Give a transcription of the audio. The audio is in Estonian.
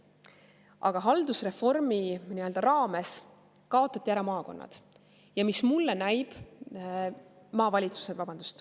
Aga haldusreformi raames kaotati ära maavalitsused.